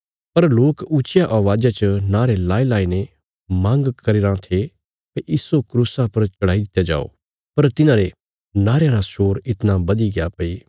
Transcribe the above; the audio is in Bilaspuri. पर लोक ऊच्चिया अवाज़ा च नारे लगाईलगाईने मांग करी रां थे भई इस्सो क्रूसा पर चढ़ाई दित्या जाओ पर तिन्हारे नारेयां रा शोर इतणा बधीग्या भई